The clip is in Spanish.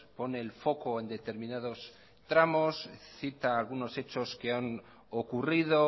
pone el foco en determinados tramos cita algunos hechos que han ocurrido